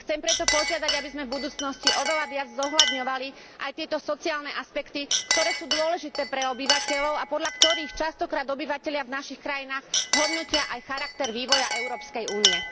Chcem preto požiadať, aby sme v budúcnosti oveľa viac zohľadňovali aj tieto sociálne aspekty, ktoré sú dôležité pre obyvateľov a podľa ktorých častokrát obyvatelia v našich krajinách hodnotia aj charakter vývoja Európskej únie.